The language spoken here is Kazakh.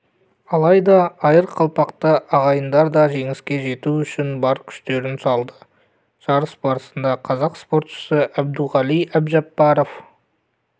алайда айырқалпақты ағайындар да жеңіске жету үшін бар күштерін салды жарыс барысында қазақ спортшысы әбдуғали әбжапаров